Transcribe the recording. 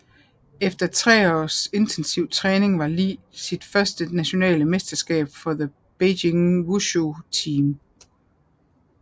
Efter tre års intensiv træning vandt Li sit første nationale mesterskab for the Beijing Wushu Team